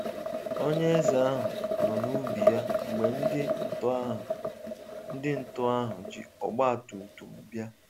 onyeeze ahụ nọ na ubi ya mgbe ndị ntọ ahụ ndị ntọ ahụ jị ọgbatumtum bịa.